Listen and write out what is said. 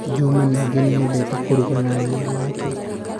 Juma ningĩ nĩ eendete kũruga na nyina wake.